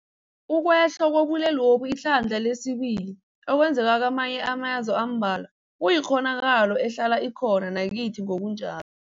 Ukwehla kobulwelobu ihlandla lesibili okwenzeke kamanye amazwe ambalwa kuyikghonakalo ehlala ikho na nakithi ngokunja